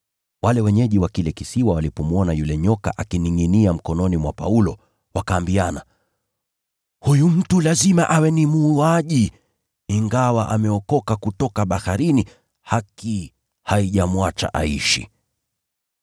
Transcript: Wale wenyeji wa kile kisiwa walipomwona yule nyoka akiningʼinia mkononi mwa Paulo, wakaambiana, “Huyu mtu lazima awe ni muuaji, ingawa ameokoka kutoka baharini, haki haijamwacha aishi.”